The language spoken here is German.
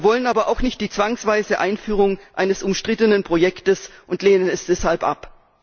Wir wollen aber auch nicht die zwangsweise Einführung eines umstrittenen Projekts und lehnen es deshalb ab!